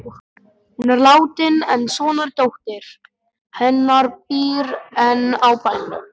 Hún er látin en sonardóttir hennar býr enn á bænum.